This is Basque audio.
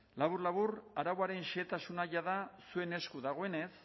labur labur arauaren xehetasuna jada zuen esku dagoenez